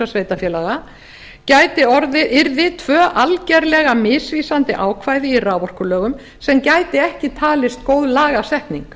sveitarfélaga yrði tvö algerlega misvísandi ákvæði í raforkulögum sem gæti ekki talist vera góð lagasetning